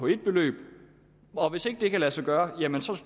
et beløb og hvis ikke det kan lade sig gøre